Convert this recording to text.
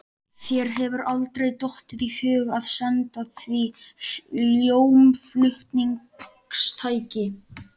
Þér hefur aldrei dottið í hug að senda því hljómflutningstæki?